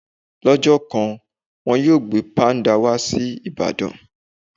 Lọ́jọ́ kan, wọn yóò gbé Páńdà wá sí Ìbàdàn.